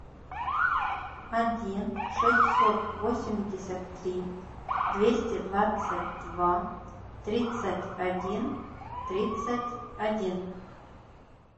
один шестьсот восемьдесят три двести двадцать два тридцать один тридцать один